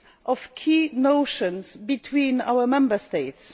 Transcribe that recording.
of key notions between our Member States